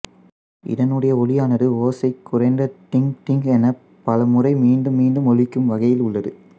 இதனுடைய ஒலியானது ஓசை குறைந்த டிங்க்டிங்க் எனப் பல முறை மீண்டும் மீண்டும் ஒலிக்கும் வகையில் உள்ளது